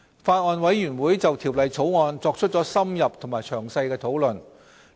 法案委員會就《條例草案》作出了深入和詳細的討論。